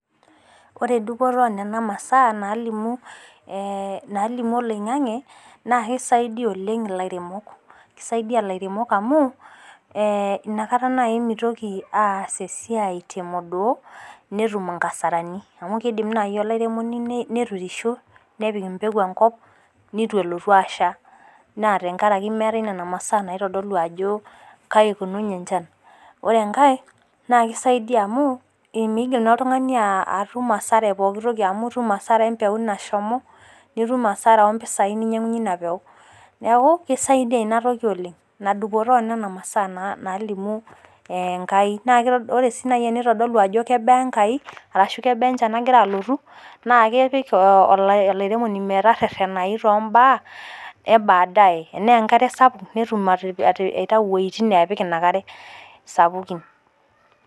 Ore dupoto onena masaa naalimu, naalimu oloing'ang'e naa keisaidiya oleng ilairemok, keisaidiya ilairemok amuu, inakata nai meitoki aas esiai te modoo, netum inkasarani, mau keidim nai olairemoni neturisho nepik empelu enkop netu elotu asha naa tengaraki e nena masaa naitodolu ajo kaji eikununye enchan. Ore enkae keidaiyia amu keidim naa ilo tungani atumo asara pooki amu itum asara empeku neshomo, nitum asara ompesai ninyang'unye ina impeku, neaku kesidai dei inatoki oleng, ina dupoto oo nena masaa naalimu enkai, naa ore si neitadolu ajo kebaa enkai arashu kebaa enchan nagira alotu, naa kepik olairemoni meteretenai too imbaa ebadaye, enaa enkata sapuk netum aitau wejitin naapik ina ina inkare sapukin.